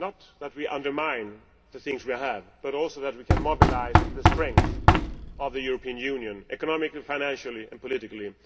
that we do not undermine the things we have, and also that we can mobilise the strength of the European Union economically, financially and politically.